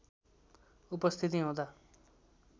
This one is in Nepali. उपस्थिति हुँदा